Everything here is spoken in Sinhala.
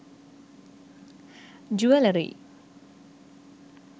jewellery